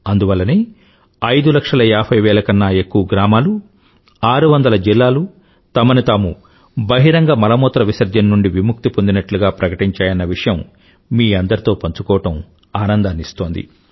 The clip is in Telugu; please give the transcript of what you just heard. అందువల్లనే ఐదు లక్షల ఏభైవేల కన్న ఎక్కువ గ్రామాలు ఆరువందల జిల్లాలు తమని తాము బహిరంగ మలమూత్రవిసర్జన నుండి విముక్తి పొందినట్లుగా ప్రకటించాయన్న విషయం మీ అందరితో పంచుకోవడం ఆనందాన్ని ఇస్తోంది